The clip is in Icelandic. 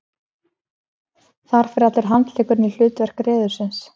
þar fer allur handleggurinn í hlutverk reðursins